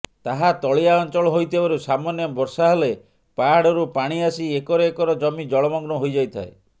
ଏହା ତଳିଆ ଅଞ୍ଚଳ ହୋଇଥିବାରୁ ସାମନ୍ୟ ବର୍ଷାହେଲେ ପାହାଡରୁ ପାଣି ଆସି ଏକର ଏକର ଜମି ଜଳମଗ୍ନ ହୋଇଯାଇଥାଏ